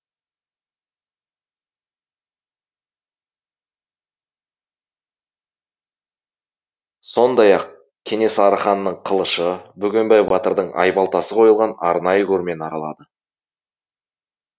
сондай ақ кенесары ханның қылышы бөгенбай батырдың айбалтасы қойылған арнайы көрмені аралады